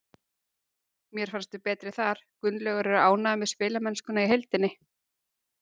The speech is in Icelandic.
Mér fannst við betri þar. Gunnlaugur er ánægður með spilamennskuna í heildina.